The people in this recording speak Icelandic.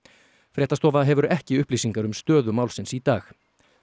fréttastofa hefur ekki upplýsingar um stöðu málsins í dag